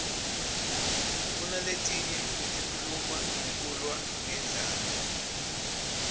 kunaletinye letikhuluma ngekulwa ngendlala